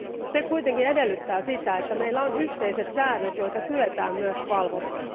Se kuitenkin edellyttää sitä, että meillä on yhteiset säännöt, joita kyetään myös valvomaan.